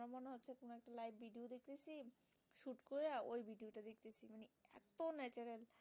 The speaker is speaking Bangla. so natural